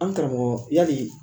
An karamɔgɔ yali